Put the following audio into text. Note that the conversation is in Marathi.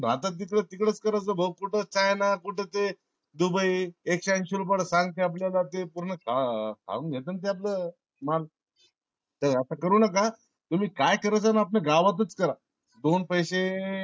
भारतात जिकडं तिकडच करायचा भाऊ कुठ China कुठ ते dubai एकशे अंशी रुपयला सांगते आपल्यला ते. पूर्ण खा खाऊन घेता ना ते आपल माल. असं करू नका तुम्ही काय करायच ते आपल्या गावातच करा. दोन पैसे